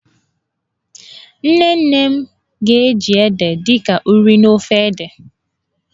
Nne nne m ga-eji ede dị ka ụrị n'ofe ede.